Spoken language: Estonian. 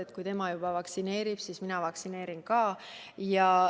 Et kui juba tema vaktsineerib, siis mina vaktsineerin ka.